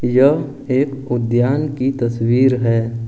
यह एक उद्यान की तस्वीर है।